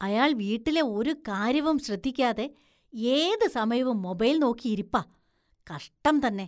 അയാള്‍ വീട്ടിലെ ഒരു കാര്യവും ശ്രദ്ധിക്കാതെ ഏത് സമയവും മൊബൈല്‍ നോക്കിയിരിപ്പാ, കഷ്ടം തന്നെ.